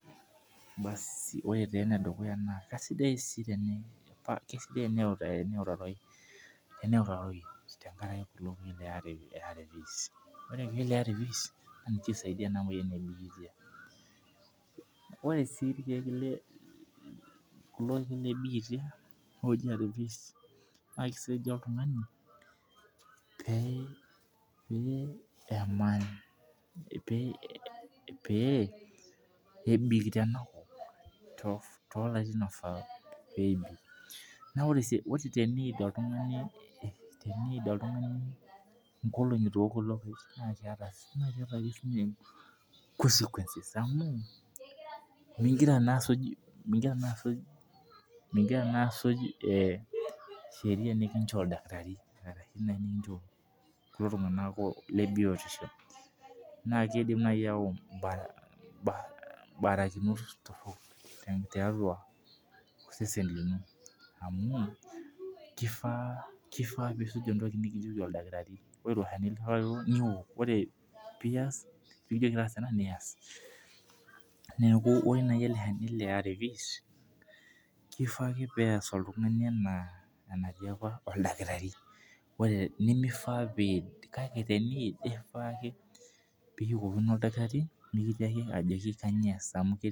Kisidai Tena ewutaroi tenkaraki ARVs laa ninche lee moyian ee bitia ore sii irkeek lee bitia looji ARVs naa kisaidia oltung'ani pee ebik Tena kop too larin oifaa pee ebik ore teniyid oltung'ani enkologi eitu ewok kulo Kee naa keeta ake sininye consequences amu nigira naa asuj sheria nikinjoo oldakitarii kulo tung'ana lee biotisho naa kidim naaji ayawu barakinot torok tiatua osesen lino amu kifaa nisuj entoki nikijoki oldakitarii neeku ore naaji ele Shani lee ARVs naa kifaa pee eyas oltung'ani enaa enaatiaka oldakitarii nimifaa pee eyid naa teniyid nishukokino oldakitarii ajoki kainyio eas